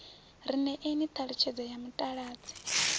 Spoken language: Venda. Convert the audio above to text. ri ṋeeni ṱhalutshedzo ya mutaladzi